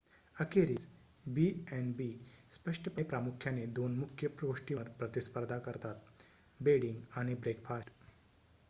अखेरीस b&b स्पष्टपणे प्रामुख्याने 2 मुख्य गोष्टींवर प्रतिस्पर्धा करतात बेडिंग आणि ब्रेकफास्ट